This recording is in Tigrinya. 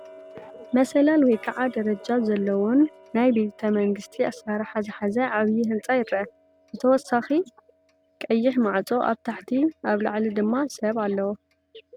መሳለል ወይ ከዓ ደረጃ ዘለዎን ናይ ቤተ መንግስቲ ኣሰራርሓ ዝሓዘ ዓብይ ህንፃ ይርአ::ብተወሳኺ ቀይሕ ማዕፆ ኣብ ታሕቲ ኣብ ላዕሊ ድማ ሰብ ኣለዎ፡፡